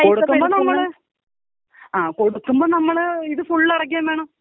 കൊടുക്കുമ്പോ നമ്മള്, ആ കൊടുക്കുമ്പോ നമ്മള് ഇത് ഫുള്ളടക്കേം വേണം.